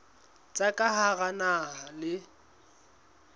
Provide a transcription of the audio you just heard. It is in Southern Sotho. tsa ka hara naha le